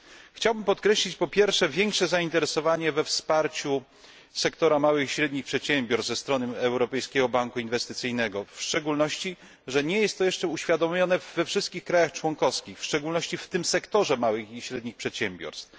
Chciałbym podkreślić po pierwsze większe zainteresowanie wsparciem sektora małych i średnich przedsiębiorstw ze strony Europejskiego Banku Inwestycyjnego, w szczególności, że nie jest to jeszcze uświadomione we wszystkich państwach członkowskich, zwłaszcza w tym sektorze małych średnich przedsiębiorstw.